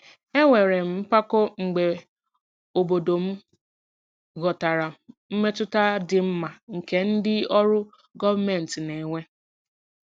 Enwere m mpako mgbe obodo m ghọtara mmetụta dị mma nke ndị ọrụ gọọmentị na-enwe.